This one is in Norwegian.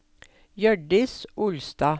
Hjørdis Olstad